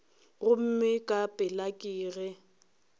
gomme ka pela ke ge